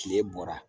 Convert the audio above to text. Kile bɔra